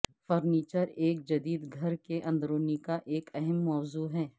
furniture ایک جدید گھر کے اندرونی کا ایک اہم موضوع ہے